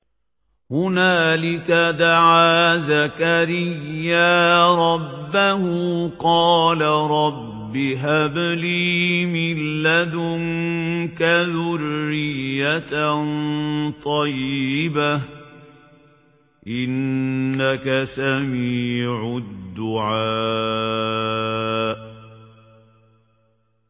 هُنَالِكَ دَعَا زَكَرِيَّا رَبَّهُ ۖ قَالَ رَبِّ هَبْ لِي مِن لَّدُنكَ ذُرِّيَّةً طَيِّبَةً ۖ إِنَّكَ سَمِيعُ الدُّعَاءِ